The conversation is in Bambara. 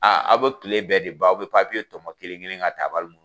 Aaa aw bɛ tile bɛɛ de ban, aw bɛ papiye tɔmɔ kelen kelen ka tabali nnnu